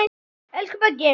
Elsku Böggi.